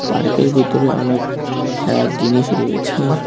পার্কের ভিতরে অনেক খেলার জিনিস রয়েছে।